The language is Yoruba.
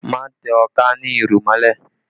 Má tẹ ọká ní irù mọ́lẹ̀